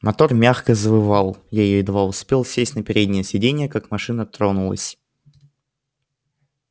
мотор мягко завывал я едва успел сесть на переднее сиденье как машина тронулась